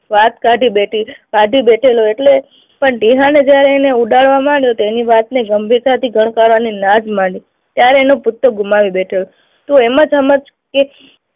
વાત કાઢી બેઠી, કાઢી બેઠેલો એટલે પણ ટીહાને જયારે એણે ઉડાડવા માંડ્યો તેની વાત ગંભીરતાથી ગણગારવાની ના જ માની. ત્યારે એનો પુત્ર ગુમાવી બેઠેલો તો એમાં સમજ કે